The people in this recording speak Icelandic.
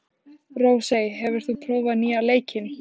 Rósey, hefur þú prófað nýja leikinn?